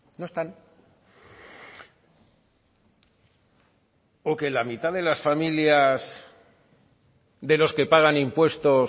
no están o que la mitad de las familias de los que pagan impuestos